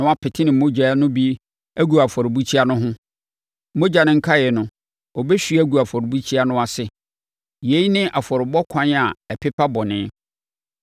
na wapete ne mogya no bi agu afɔrebukyia no ho. Mogya no nkaeɛ no, ɔbɛhwie agu afɔrebukyia no ase. Yei ne afɔrebɔ kwan a ɛpepa bɔne.